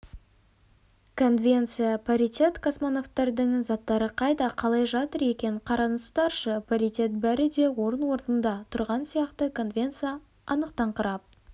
конвенция паритет-космонавтардың заттары қайда қалай жатыр екен қараңыздаршы паритет бәрі де орын-орнында тұрған сияқты конвенция анықтаңқырап